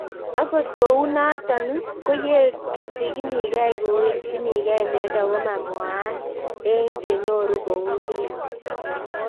Akot kou notok ko ye ketchinikei kowechinigei miondo ko mamwaat eng' che nyoru kou kila